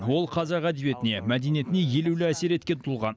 ол қазақ әдебиетіне мәдениетіне елеулі әсер еткен тұлға